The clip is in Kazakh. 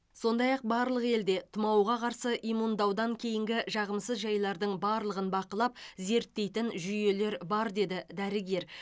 сондай ақ барлық елде тұмауға қарсы иммундаудан кейінгі жағымсыз жайлардың барлығын бақылап зерттейтін жүйелер бар деді дәрігер